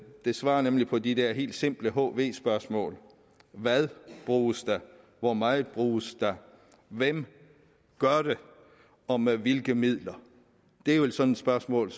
det svarer nemlig på de der helt simple hv spørgsmål hvad bruges der hvor meget bruges der hvem gør det og med hvilke midler det er jo sådanne spørgsmål